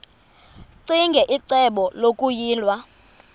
ccinge icebo lokuyilwa